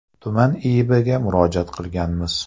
Tuman IIBga murojaat qilganmiz.